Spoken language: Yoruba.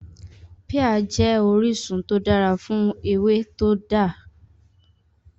Píà jẹ́ orísun tó dára fún ewé tó dá lórí ìdàgbàsókè ara